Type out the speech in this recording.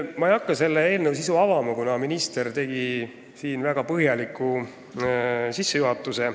Ma ei hakka selle eelnõu sisu avama, kuna minister tegi väga põhjaliku sissejuhatuse.